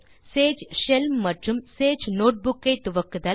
Sage shell மற்றும் Sage notebook ஐ துவக்குதல்